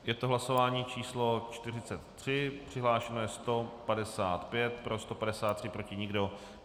Je to hlasování číslo 43, přihlášeno je 155, pro 153, proti nikdo.